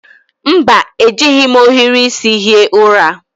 Mba, ejighi m ohiri isi hie ụra